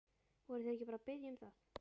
Voru þeir ekki bara að biðja um það?